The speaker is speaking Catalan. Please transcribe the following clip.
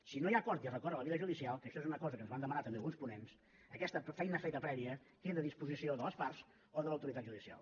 si no hi ha acord i es recorre a la via judicial que això és una cosa que ens van demanar també alguns ponents aquesta feina feta prèvia queda a disposició de les parts o de l’autoritat judicial